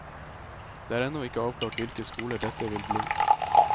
Det er ennå ikke avklart hvilke skoler dette vil bli.